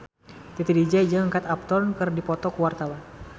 Titi DJ jeung Kate Upton keur dipoto ku wartawan